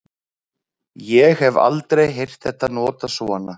ég hef aldrei heyrt þetta notað svona